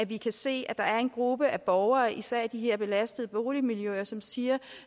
vi kan se at der er en gruppe af borgere især i de her belastede boligmiljøer som siger